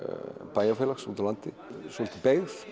bæjarfélags úti á landi svolítið beygð